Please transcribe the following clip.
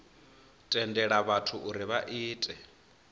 tendela vhathu uri vha ite